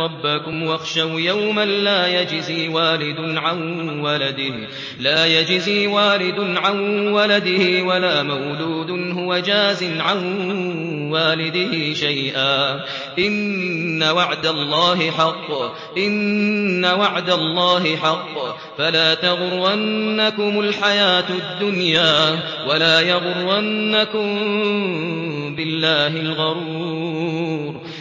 رَبَّكُمْ وَاخْشَوْا يَوْمًا لَّا يَجْزِي وَالِدٌ عَن وَلَدِهِ وَلَا مَوْلُودٌ هُوَ جَازٍ عَن وَالِدِهِ شَيْئًا ۚ إِنَّ وَعْدَ اللَّهِ حَقٌّ ۖ فَلَا تَغُرَّنَّكُمُ الْحَيَاةُ الدُّنْيَا وَلَا يَغُرَّنَّكُم بِاللَّهِ الْغَرُورُ